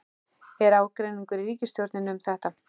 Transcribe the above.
Er ágreiningur í ríkisstjórninni um þetta?